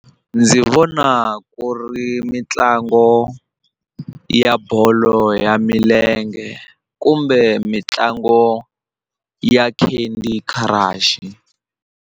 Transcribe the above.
Ndzi vona ku ri mitlango ya bolo ya milenge kumbe mitlangu ya Candy Crush.